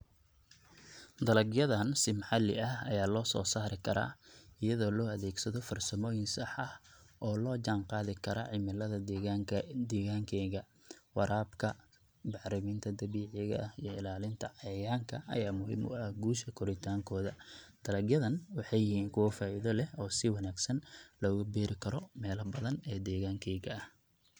dalag yadan si maxali ah aya losoo sari kara iyado loo adeegsado farsamooyin sax ah oo loo jan qadi karo cimilida degaankeyga, warabka, bacriminta dabiici ah iyo ilalinta cayayanka aya muhim u ah guusa koritankooda. Dalag yadan waxay yihiin kuwo faida leh oo si wanaagsan logu beri karo mela badan oo degaankeyga ah